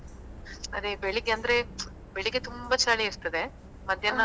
ಅದೇ ಬೆಳ್ಳಿಗೆಂದ್ರೆ ಬೆಳ್ಳಿಗ್ಗೆ ತುಂಬಾ ಚಳಿ ಇರ್ತದೆ ಮಧ್ಯಾಹ್ನ